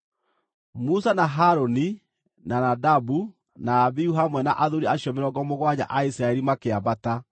Musa na Harũni, na Nadabu na Abihu hamwe na athuuri acio mĩrongo mũgwanja a Isiraeli makĩambata,